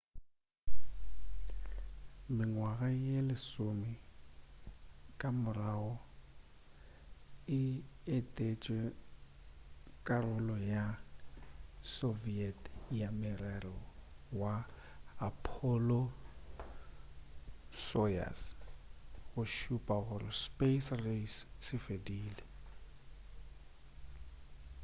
mengwaga ye lesome ka morago o etetše karolo ya soviet ya morero wa apollo-soyuz go šupa gore space race se fedile